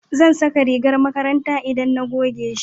zan saka rigar makaranta in na goge shi